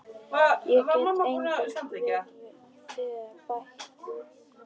Ég get engu við þær bætt.